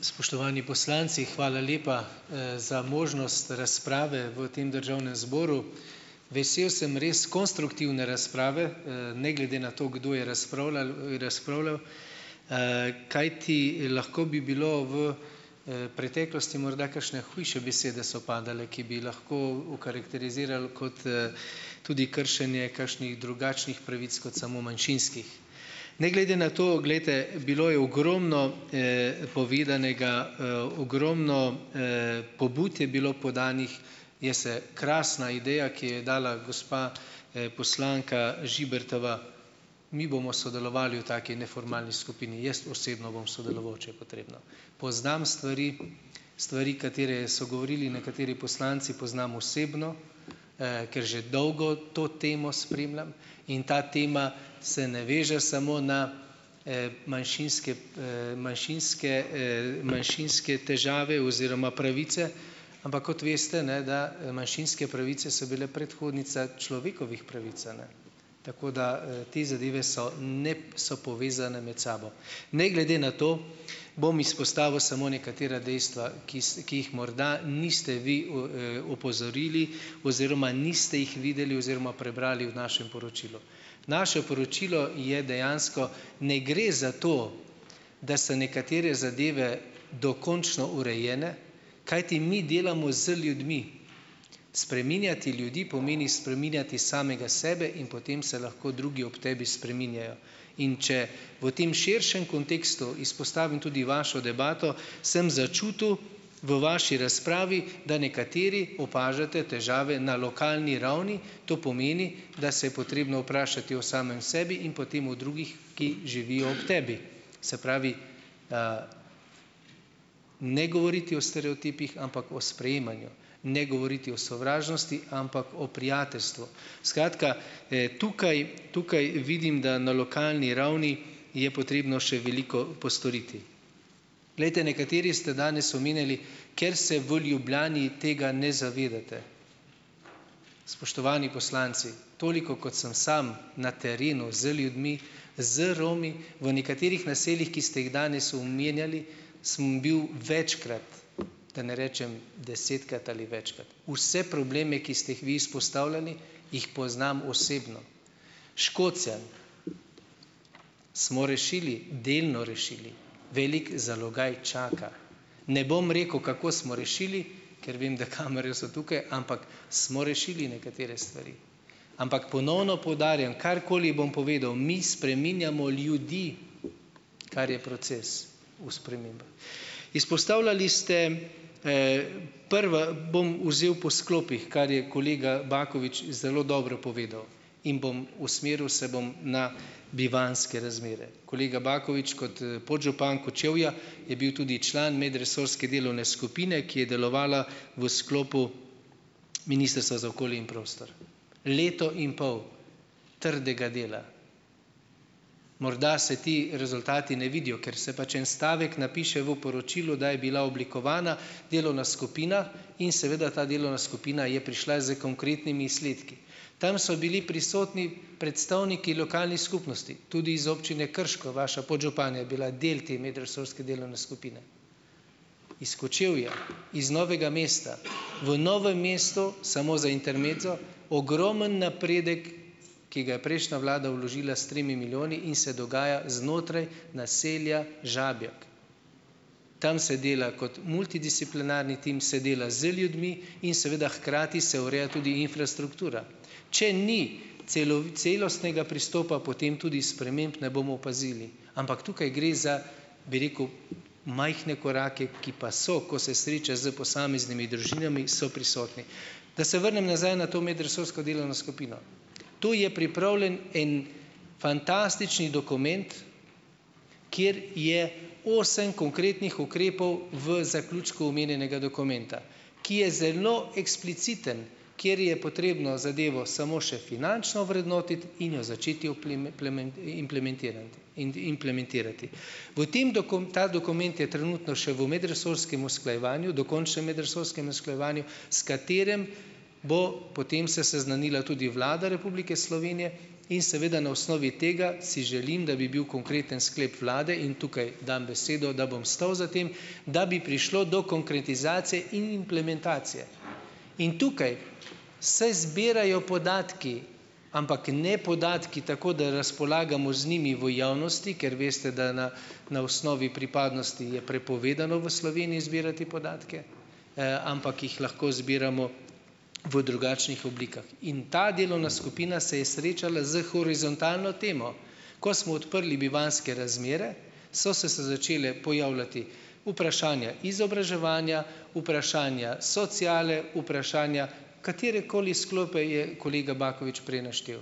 Spoštovani poslanci! Hvala lepa za možnost razprave v tem državnem zboru. Vesel sem res konstruktivne razprave, ne glede na to, kdo je razpravljal razpravljal. Kajti lahko bi bilo v preteklosti morda kakšne hujše besede so padale, ki bi lahko okarakterizirali kot tudi kršenje kakšnih drugačnih pravic kot samo manjšinskih. Ne glede na to, glejte, bilo je ogromno povedanega, ogromno pobud je bilo podanih. Jaz se, krasna ideja, ki je dala gospa poslanka Žibertova. Mi bomo sodelovali v taki neformalni skupini. Jaz osebno bom sodeloval, če je potrebno. Poznam stvari, stvari, katere so govorili nekateri poslanci, poznam osebno, ker že dolgo to temo spremljam, in ta tema se ne veže samo na manjšinske manjšinske manjšinske težave oziroma pravice, ampak kot veste, ne, da manjšinske pravice so bile predhodnice človekovih pravic, a ne. Tako da te zadeve so, ne, so povezane med sabo. Ne glede na to bom izpostavil samo nekatera dejstva, ki ki jih morda niste vi v opozorili oziroma niste jih videli oziroma prebrali v našem poročilu. Naše poročilo je dejansko - ne gre za to, da se nekatere zadeve dokončno urejene, kajti mi delamo z ljudmi. Spreminjati ljudi pomeni spreminjati samega sebe in potem se lahko drugi ob tebi spreminjajo. In če v tem širšem kontekstu izpostavim tudi vašo debato, sem začutil v vaši razpravi, da nekateri opažate težave na lokalni ravni, to pomeni, da se je potrebno vprašati o samem sebi in potem o drugih, ki živijo ob tebi. Se pravi, ne govoriti o stereotipih, ampak o sprejemanju. Ne govoriti o sovražnosti, ampak o prijateljstvu. Skratka, tukaj, tukaj vidim, da na lokalni ravni je potrebno še veliko postoriti. Glejte, nekateri ste danes omenjali - ker se v Ljubljani tega ne zavedate. Spoštovani poslanci, toliko, kot sem sam na terenu z ljudmi, z Romi, v nekaterih naseljih, ki ste jih danes omenjali, sem bil večkrat, da ne rečem desetkrat ali večkrat. Vse probleme, ki ste jih vi izpostavljali, jih poznam osebno. Škocjan. Smo rešili. Delno rešili. Velik zalogaj čaka. Ne bom rekel, kako smo rešili, ker vem, da kamere so tukaj, ampak smo rešili nekatere stvari. Ampak ponovno poudarjam, karkoli bom povedal - mi spreminjamo ljudi. Kar je proces - v spremembah. Izpostavljali ste, prva - bom vzel po sklopih, kar je kolega Bakovič zelo dobro povedal. In bom, usmeril se bom na bivanjske razmere. Kolega Bakovič kot podžupan Kočevja je bil tudi član medresorske delovne skupine, ki je delovala v sklopu Ministrstva za okolje in prostor. Leto in pol trdega dela. Morda se ti rezultati ne vidijo. Ker se pač en stavek napiše v poročilu, da je bila oblikovana delovna skupina in seveda ta delovna skupina je prišla s konkretnimi izsledki. Tam so bili prisotni predstavniki lokalnih skupnosti. Tudi iz občine Krško, vaša podžupanja je bila del te medresorske delovne skupine. Iz Kočevja. Iz Novega mesta. V Novem mestu - samo za intermezzo - ogromen napredek, ki ga je prejšnja vlada vložila s tremi milijoni in se dogaja znotraj naselja Žabjek. Tam se dela kot multidisciplinarni tim, se dela z ljudmi in seveda hkrati se ureja tudi infrastruktura. Če ni celostnega pristopa, potem tudi sprememb ne bomo opazili. Ampak tukaj gre za, bi rekel, majhne korake, ki pa so, ko se sreča s posameznimi družinami, so prisotni. Da se vrnem nazaj na to medresorsko delovno skupino. To je pripravljen en fantastični dokument, kjer je osem konkretnih ukrepov v zaključku omenjenega dokumenta. Ki je zelo ekspliciten. Kjer je potrebno zadevo samo še finančno ovrednotiti in jo začeti implementirati implementirati. V tem ta dokument je trenutno še v medresorskem usklajevanju, dokončnem medresorskem usklajevanju, s katerim bo potem se seznanila tudi Vlada Republike Slovenije in seveda na osnovi tega si želim, da bi bil konkreten sklep Vlade - in tukaj dam besedo, da bom stal za tem - da bi prišlo do konkretizacije in implementacije. In tukaj se zbirajo podatki - ampak ne podatki tako, da razpolagamo z njimi v javnosti, ker veste, da na na osnovi pripadnosti je prepovedano v Sloveniji zbirati podatke. Ampak jih lahko zbiramo v drugačnih oblikah. In ta delovna skupina se je srečala s horizontalno temo. Ko smo odprli bivanjske razmere, so se se začele pojavljati vprašanja izobraževanja, vprašanja sociale, vprašanja - katerekoli sklope je kolega Bakovič prej naštel.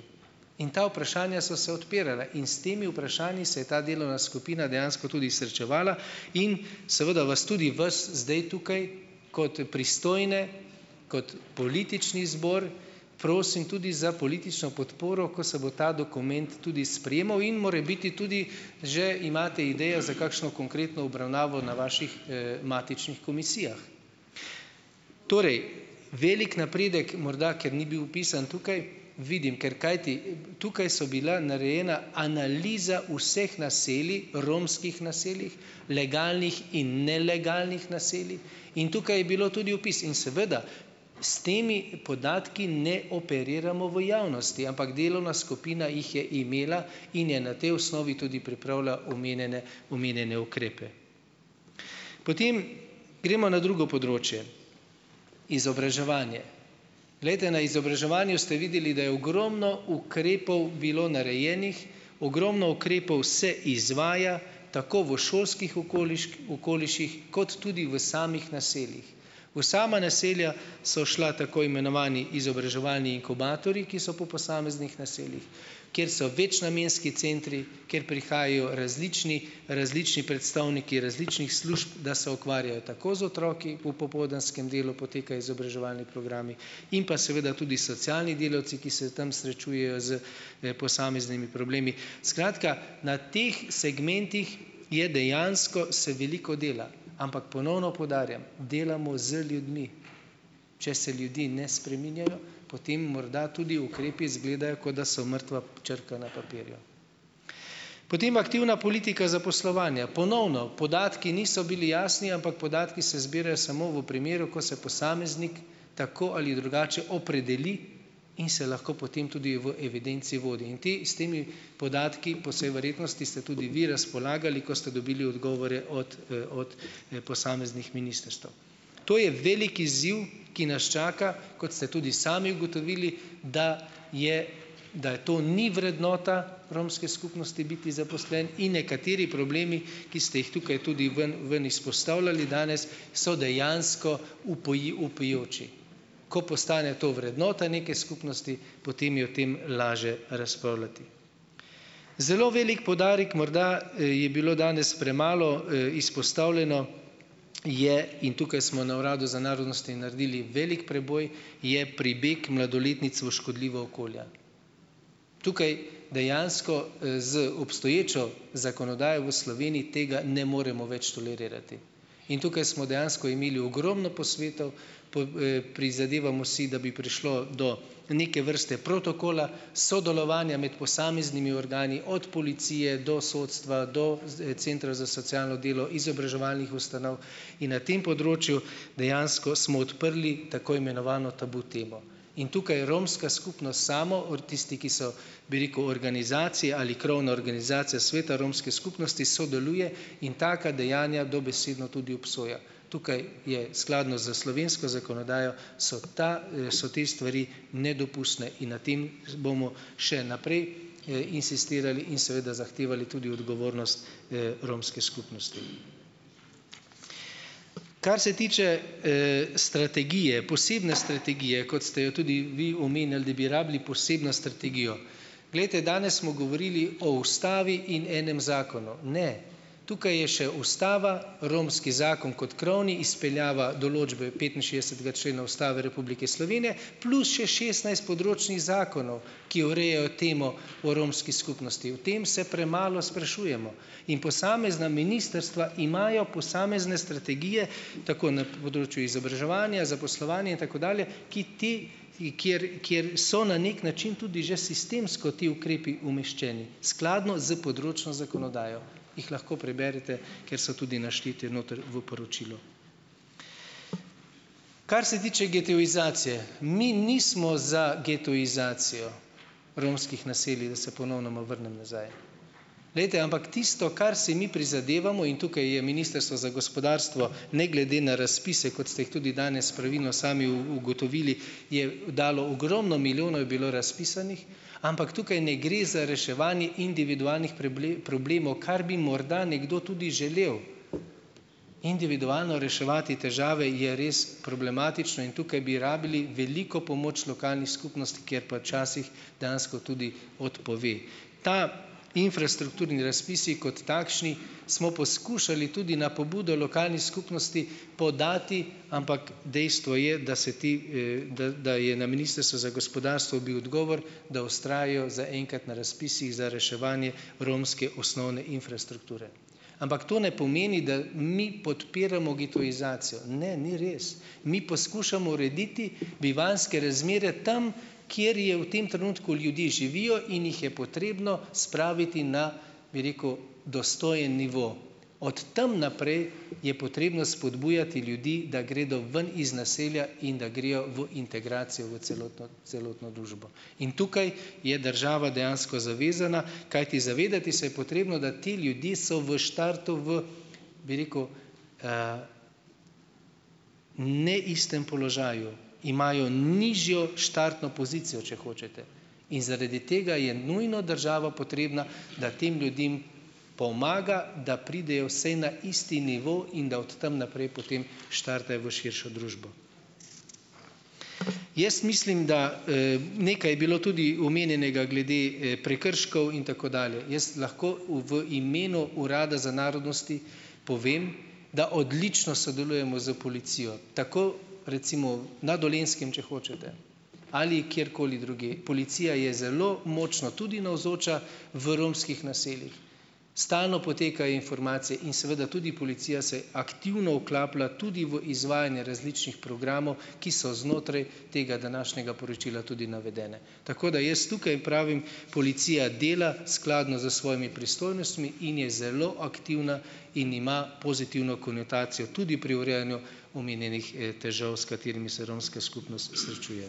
In ta vprašanja so se odpirala. In s temi vprašanji se je ta delovna skupina dejansko tudi srečevala in seveda vas tudi vas zdaj tukaj kot pristojne, kot politični zbor, prosim tudi za politično podporo, ko se bo ta dokument tudi sprejemal in morebiti tudi že imate idejo za kakšno konkretno obravnavo na vaših matičnih komisijah. Torej, velik napredek morda, ker ni bil vpisan tukaj, vidim, ker kajti tukaj so bila narejena analiza vseh naselij, romskih naselij, legalnih in nelegalnih naselij, in tukaj je bilo tudi vpis in seveda, s temi podatki ne operiramo v javnosti, ampak delovna skupina jih je imela in je na tej osnovi tudi pripravila omenjene, omenjene ukrepe. Potem gremo na drugo področje. Izobraževanje. Glejte, na izobraževanju ste videli, da je ogromno ukrepov bilo narejenih, ogromno ukrepov se izvaja tako v šolskih okoliših kot tudi v samih naseljih. V sama naselja so šla tako imenovani izobraževalni inkubatorji, ki so po posameznih naseljih, kjer se večnamenski centri, kjer prihajajo različni, različni predstavniki različnih služb, da se ukvarjajo tako z otroki, v popoldanskem delu potekajo izobraževalni programi in pa seveda tudi socialni delavci, ki se tam srečujejo s posameznimi problemi, skratka, na teh segmentih je dejansko se veliko dela, ampak ponovno poudarjam, delamo z ljudmi. Če se ljudi ne spreminjajo, potem morda tudi ukrepi izgledajo, kot da so mrtva črka na papirju. Potem aktivna politika zaposlovanja. Ponovno, podatki niso bili jasni, ampak podatki se zbirajo samo v primeru, ko se posameznik tako ali drugače opredeli in se lahko potem tudi v evidenci vodi in te s temi podatki, po vsej verjetnosti ste tudi vi razpolagali, ko ste dobili odgovore od od posameznih ministrstev. To je velik izziv, ki nas čaka, kot ste tudi sami ugotovili, da je, da to ni vrednota romske skupnosti biti zaposlen in nekateri problemi, ki ste jih tukaj tudi ven ven izpostavljali danes, so dejansko vpijoči. Ko postane to vrednota neke skupnosti, potem je o tem lažje razpravljati. Zelo velik poudarek morda, je bilo danes premalo izpostavljeno, je in tukaj smo na uradu za narodnosti naredili velik preboj, je pribeg mladoletnic v škodljiva okolja. Tukaj dejansko z obstoječo zakonodajo v Sloveniji tega ne moremo več tolerirati in tukaj smo dejansko imeli ogromno posvetov, prizadevamo si, da bi prišlo do neke vrste protokola, sodelovanja med posameznimi organi, od policije do sodstva do z centra za socialno delo, izobraževalnih ustanov in na tem področju dejansko smo odprli tako imenovano tabu temo in tukaj romska skupnost samo, ortisti, ki so, bi rekel, organizacija ali krovna organizacija sveta romske skupnosti sodeluje in taka dejanja dobesedno tudi obsoja. Tukaj je skladno s slovensko zakonodajo, so ta so te stvari nedopustne in na tem bomo še naprej insistirali in seveda zahtevali tudi odgovornost romske skupnosti. Kar se tiče strategije, posebne strategije, kot ste jo tudi vi omenili, da bi rabili posebno strategijo. Glejte, danes smo govorili o Ustavi in enem zakonu. Ne. Tukaj je še Ustava, romski zakon kot krovni, izpeljava določbe petinšestdesetega člena Ustave Republike Slovenije, plus še šestnajst področnih zakonov, ki urejajo temo o romski skupnosti. O tem se premalo sprašujemo in posamezna ministrstva imajo posamezne strategije, tako na področju izobraževanja, zaposlovanja in tako dalje, ki ti kjer, kjer so na nek način tudi že sistemsko ti ukrepi umeščeni skladno s področno zakonodajo. Jih lahko preberete, ker so tudi naštete noter v poročilu. Kar se tiče getoizacije. Mi nismo za getoizacijo romskih naselij, da se ponovnoma vrnem nazaj. Glejte, ampak tisto, kar si mi prizadevamo, in tukaj je ministrstvo za gospodarstvo ne glede na razpise, kot ste jih tudi danes pravilno sami ugotovili, je dalo ogromno milijonov je bilo razpisanih, ampak tukaj ne gre za reševanje individualnih problemov, kar bi morda nekdo tudi želel, individualno reševati težave je res problematično in tukaj bi rabili veliko pomoč lokalni skupnosti, ki je pa včasih dejansko tudi odpove. Ti infrastrukturni razpisi kot takšni smo poskušali tudi na pobudo lokalni skupnosti podati, ampak dejstvo je, da se ti da da je na Ministrstvu za gospodarstvo bil odgovor, da vztrajajo za enkrat na razpisih za reševanje romske osnovne infrastrukture. Ampak to ne pomeni, da mi podpiramo getoizacijo, ne, ni res, mi poskušamo urediti bivanjske razmere tam, kjer je v tem trenutku ljudje živijo in jih je potrebno spraviti na, bi rekel, dostojen nivo - od tam naprej je potrebno spodbujati ljudi, da gredo ven iz naselja in da grejo v integracijo v celotno celotno družbo in tukaj je država dejansko zavezana, kajti zavedati se je potrebno, da ti ljudje so v štartu v, bi rekel, ne istem položaju, imajo nižjo štartno pozicijo, če hočete, in zaradi tega je nujno država potrebna, da tem ljudem pomaga, da pridejo vsaj na isti nivo in da od tam naprej potem štartajo v širšo družbo. Jaz mislim da, nekaj je bilo tudi omenjenega glede prekrškov in tako dalje. Jaz lahko v v imenu Urada za narodnosti povem, da odlično sodelujemo s policijo, tako recimo na Dolenjskem, če hočete, ali kjerkoli drugje, policija je zelo močno tudi navzoča v romskih naseljih, stalno potekajo informacije in seveda tudi policija se aktivno vklaplja tudi v izvajanje različnih programov, ki so znotraj tega današnjega poročila tudi navedene. Tako da jaz tukaj pravim: policija dela skladno s svojimi pristojnostmi in je zelo aktivna in ima pozitivno konotacijo tudi pri urejanju omenjenih težav, s katerimi se romska skupnost srečuje.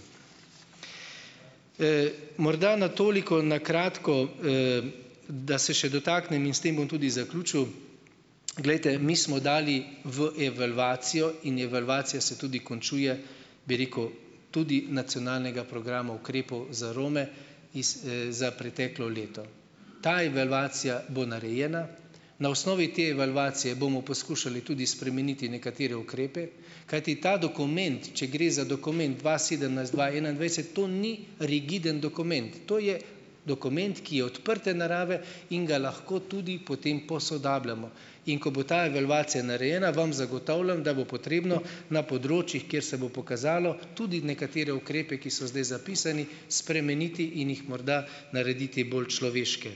Morda na toliko na kratko, da se še dotaknem in s tem bom tudi zaključil. Glejte, mi smo dali v evalvacijo in evalvacija se tudi končuje, bi rekel, tudi nacionalnega programa ukrepov za Rome iz za preteklo leto. Ta evalvacija bo narejena, na osnovi te evalvacije bomo poskušali tudi spremeniti nekatere ukrepe, kajti ta dokument, če gre za dokument dva sedemnajst dva enaindvajset, to ni rigiden dokument, to je dokument, ki je odprte narave in ga lahko tudi potem posodabljamo, in ko bo ta evalvacija narejena, vam zagotavljam, da bo potrebno na področjih, kjer se bo pokazalo tudi nekatere ukrepe, ki so zdaj zapisani, spremeniti in jih morda narediti bolj človeške.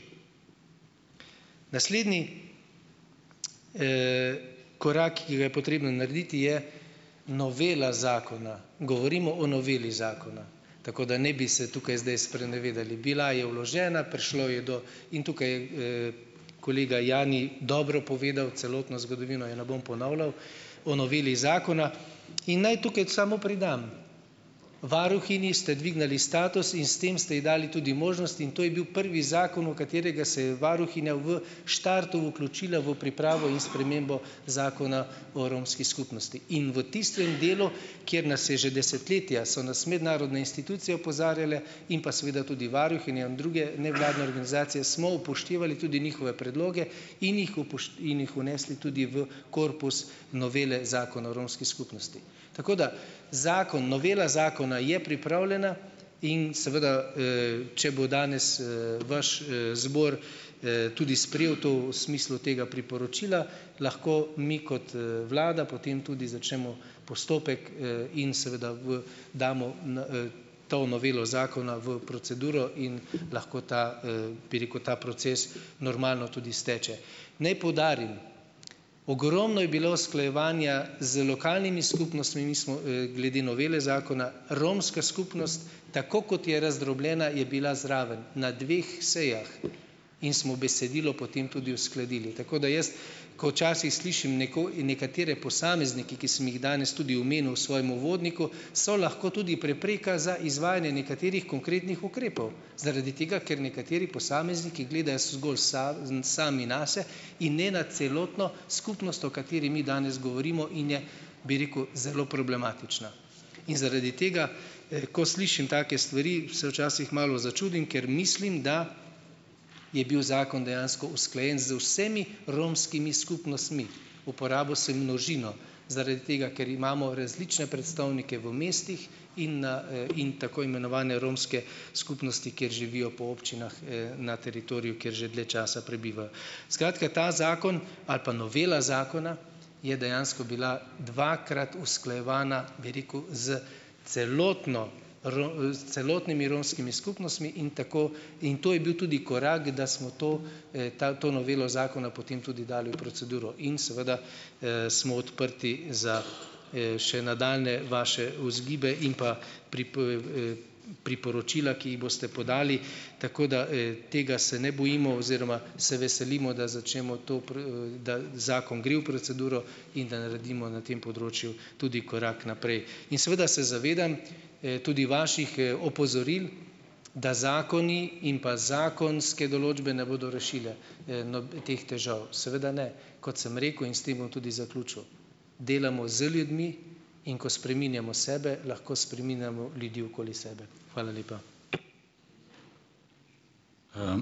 Naslednji korak, ki ga je potrebno narediti, je novela zakona. Govorimo o noveli zakona, tako da ne bi se tukaj zdaj sprenevedali. Bila je vložena, prišlo je do ... In tukaj je kolega Jani dobro povedal celotno zgodovino, je ne bom ponavljal, o noveli zakona. In naj tukaj samo pridam, varuhinji ste dvignili status in s tem ste ji dali tudi možnost in to je bil prvi zakon, v katerega se je varuhinja v štartu vključila v pripravo in spremembo Zakona o romski skupnosti, in v tistem delu, kjer nas je že desetletja, so nas mednarodne institucije opozarjale in pa seveda tudi varuhinja in druge nevladne organizacije, smo upoštevali tudi njihove predloge in jih in jih vnesli tudi v korpus novele Zakona o romski skupnosti. Tako da zakon, novela zakona je pripravljena in seveda če bo danes vaš zbor tudi sprejel to v smislu tega priporočila, lahko mi kot vlada potem tudi začnemo postopek in seveda v damo n to novelo zakona v proceduro in lahko ta bi rekel, ta proces normalno tudi steče. Naj poudarim, ogromno je bilo usklajevanja z lokalnimi skupnostmi, mi smo glede novele zakona, romska skupnost, tako kot je razdrobljena, je bila zraven na dveh sejah in smo besedilo potem tudi uskladili, tako da jaz, ko včasih slišim nekatere posameznike, ki sem jih danes tudi omenil v svojem uvodniku, so lahko tudi prepreka za izvajanje nekaterih konkretnih ukrepov, zaradi tega, ker nekateri posamezniki gledajo zgolj za zn sami nase in ne na celotno skupnost, o kateri mi danes govorimo in je, bi rekel, zelo problematična. In zaradi tega, ko slišim take stvari, se včasih malo začudim, ker mislim, da je bil zakon dejansko usklajen z vsemi romskimi skupnostmi - uporabil sem množino, zaradi tega ker imamo različne predstavnike v mestih in na in tako imenovane romske skupnosti, kjer živijo po občinah na teritoriju, kjer že dlje časa prebivajo. Skratka, ta zakon ali pa novela zakona je dejansko bila dvakrat usklajevana, bi rekel, s celotno s celotnimi romskimi skupnostmi in tako in to je bil tudi korak, da smo to ta to novelo zakona potem tudi dali v proceduro in seveda smo odprti za še nadaljnje vaše vzgibe in pa priporočila, ki jih boste podali, tako da tega se ne bojimo oziroma se veselimo, da začnemo to da zakon gre v proceduro in da naredimo na tem področju tudi korak naprej. In seveda se zavedam tudi vaših opozoril, da zakoni in pa zakonske določbe ne bodo rešile teh težav. Seveda ne. Kot sem rekel, in s tem bom tudi zaključil. Delamo z ljudmi in ko spreminjamo sebe, lahko spreminjamo ljudi okoli sebe. Hvala lepa.